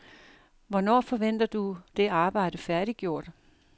Hvornår forventer du det arbejde færdiggjort?